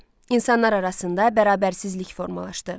İnsanlar arasında bərabərsizlik formalaşdı.